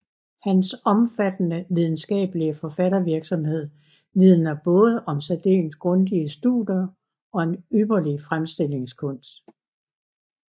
Hans omfattende videnskabelige forfattervirksomhed vidner både om særdeles grundige studier og en ypperlig fremstillingskunst